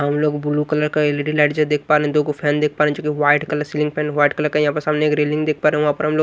हम लोग blue colour का एल_इ_डी लाइट जो देख पा रहे दो को फैन देख पा रहे जो की white colour ceiling fan white colour का यहां पर सामने एक रेलिंग देख पा रहे वहां पर हम लोग--